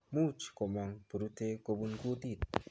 Muuch komang purutek kopun kutit